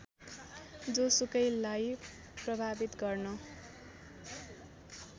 जोसुकैलाई प्रभावित गर्न